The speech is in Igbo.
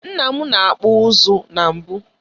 Nna m na-akpụ ụzụ na mbụ.